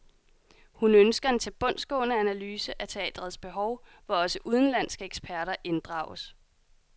Hun ønsker en tilbundsgående analyse af teatrets behov, hvor også udenlandske eksperter inddrages.